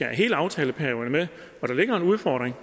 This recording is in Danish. hele aftaleperioden med og der ligger en udfordring